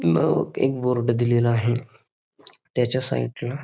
एक बोर्ड दिलेला आहे त्याच्या साइड ला --